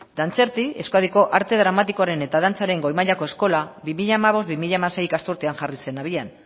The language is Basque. dantzerti euskadiko arte dramatikoren eta dantzaren goi mailako eskola bi mila hamabost bi mila hamasei ikasturtean jarri zen abian